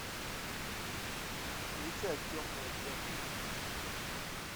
включай темное фэнтези